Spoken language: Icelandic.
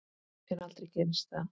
En aldrei gerist það.